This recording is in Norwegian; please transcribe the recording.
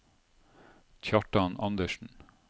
Kjartan Anderssen